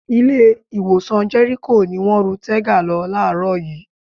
Ilé-ìwòsàn Jẹ́ríkò ni wọ́n ru Tega lọ láàárọ̀ yìí.